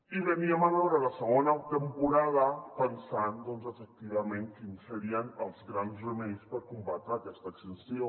i veníem a veure la segona temporada pensant doncs efectivament quins serien els grans remeis per combatre aquesta extinció